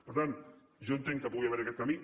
per tant jo entenc que pugui haver hi aquest camí